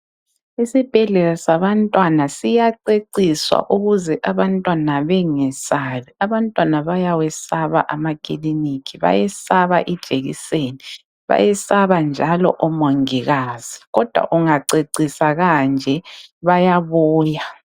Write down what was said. Isibhedlela sabantwana siyaceciswa ukuze abantwana bengesabi. Abantwana bayawesaba amakiliniki, bayesaba ijekiseni, bayesaba njalo omongikazi, kodwa kungaceciswa kanje bayabuya.